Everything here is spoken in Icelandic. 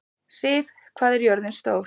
Siv, hvað er jörðin stór?